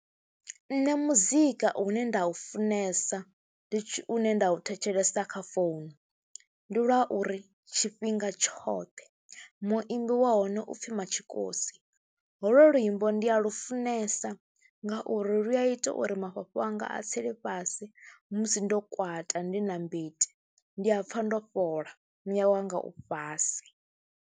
Nṋe muzika une nda u funesa ndi une nda u thetshelesa kha founu ndi lwa uri tshifhinga tshoṱhe, muimbi wa hone u pfhi Matshikosi, holwo luimbo ndi a lufunesa ngauri lu a ita uri mafhafhu anga a tsele fhasi musi ndo kwata, ndi na mbiti ndi a pfha ndo fhola, muya wanga u fhasi.